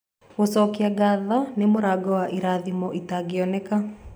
Gũcokia ngatho nĩ mũrango wa irathimo itangĩoneka.